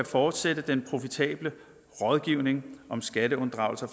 fortsætte den profitable rådgivning om skatteunddragelse